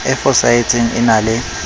e fosahetseng e na le